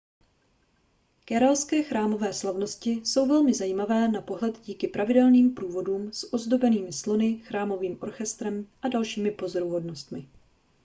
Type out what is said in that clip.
kéralské chrámové slavnosti jsou velmi zajímavé na pohled díky pravidelným průvodům s ozdobenými slony chrámovým orchestrem a dalšími pozoruhodnostmi